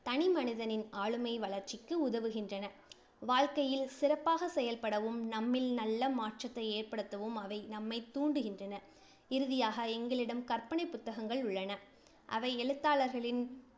தனிமனிதனின் ஆளுமை வளர்ச்சிக்கு உதவுகின்றன. வாழ்க்கையில் சிறப்பாகச் செயல்படவும், நம்மில் நல்ல மாற்றத்தை ஏற்படுத்தவும் அவை நம்மைத் தூண்டுகின்றன. இறுதியாக, எங்களிடம் கற்பனை புத்தகங்கள் உள்ளன. அவை எழுத்தாளர்களின்